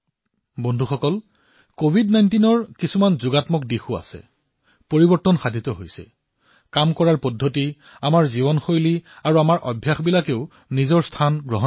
বন্ধুসকল অৱশ্যে কভিড১৯ৰ বাবে কিছুমান ইতিবাচক দিশো দেখিবলৈ পোৱা গৈছে আমাৰ কাম কৰাৰ পদ্ধতি আমাৰ জীৱন শৈলী আৰু আমাৰ স্বভাৱসমূহো কিছু পৰিৱৰ্তন হৈছে